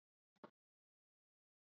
En þú ert sko ekki laus.